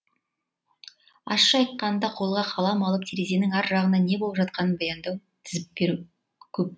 ащы айтқанда қолға қалам алып терезенің ар жағында не болып жатқанын баяндау тізіп беру көп